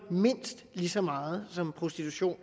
mindst lige så meget som prostitution